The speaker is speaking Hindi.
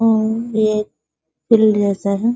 हम्म ये एक फील्ड जैसा है |